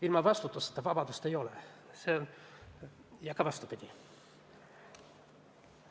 Ilma vastutuseta vabadust ei ole ja ka vastupidi mitte.